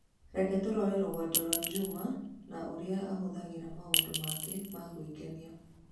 Reke tũrore rũgendo rwa Juma na ũrĩa ahũthagĩra maũndũ make ma gwĩkenia.